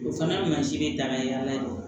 O fana mansin bɛ daga ɲɛ